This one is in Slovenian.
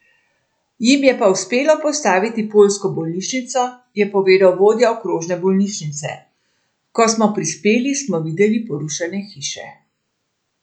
Jim je pa uspelo postaviti poljsko bolnišnico, je povedal vodja okrožne bolnišnice: "Ko smo prispeli smo videli porušene hiše.